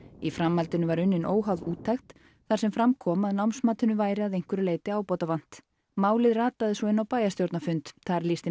í framhaldinu var unnin óháð úttekt þar sem fram kom að námsmatinu væri að einhverju leyti ábótavant málið rataði svo inn á bæjarstjórnarfund þar lýsti